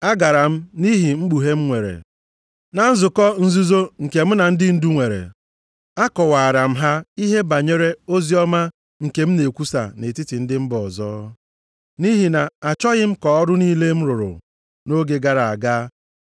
Agara m nʼihi mkpughe m nwere. Na nzukọ nzuzo nke m na ndị ndu nwere, akọwaara m ha ihe banyere oziọma nke m na-ekwusa nʼetiti ndị mba ọzọ. Nʼihi na-achọghị m ka ọrụ niile m rụrụ nʼoge gara aga,